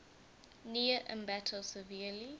near ambato severely